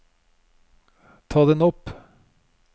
ta den opp